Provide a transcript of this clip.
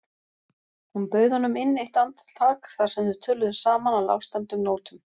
Hún bauð honum inn eitt andartak þar sem þau töluðu saman á lágstemmdum nótum.